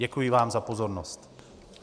Děkuji vám za pozornost.